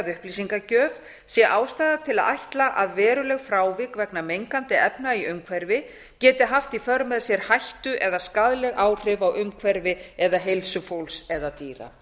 upplýsingagjöf sé ástæða til að ætla að veruleg frávik vegna mengandi efna í umhverfi geti haft í för með sér hættu eða skaðleg áhrif á umhverfi eða heilsu fólks eða dýra